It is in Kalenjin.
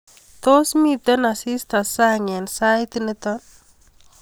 Tos miten asista sang eng sait nito